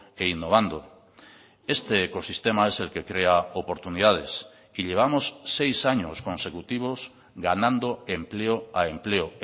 e innovando este ecosistema es el que crea oportunidades y llevamos seis años consecutivos ganando empleo a empleo